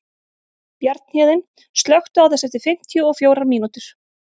Bjarnhéðinn, slökktu á þessu eftir fimmtíu og fjórar mínútur.